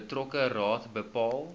betrokke raad bepaal